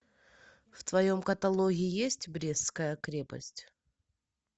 в твоем каталоге есть брестская крепость